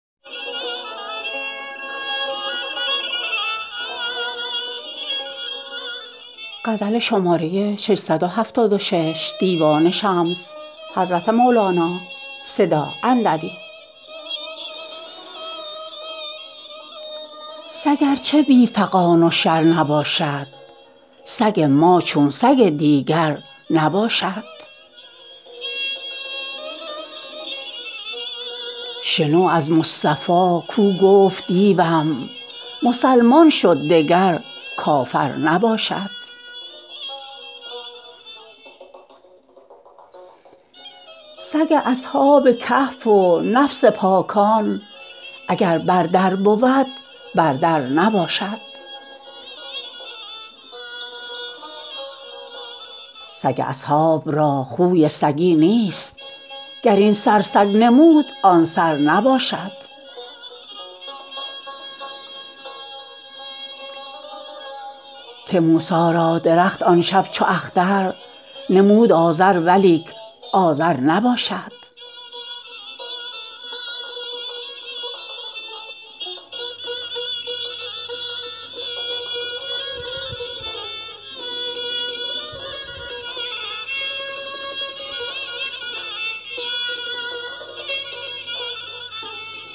سگ ار چه بی فغان و شر نباشد سگ ما چون سگ دیگر نباشد شنو از مصطفی کو گفت دیوم مسلمان شد دگر کافر نباشد سگ اصحاب کهف و نفس پاکان اگر بر در بود بر در نباشد سگ اصحاب را خوی سگی نیست گر این سر سگ نمود آن سر نباشد که موسی را درخت آن شب چو اختر نمود آذر ولیک آذر نباشد